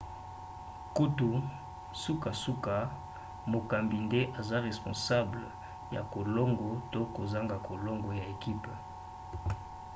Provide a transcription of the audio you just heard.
kutu sukasuka mokambi nde aza responsable ya kolongo to kozanga kolongo ya ekipe